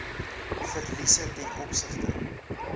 verliese ten opsigte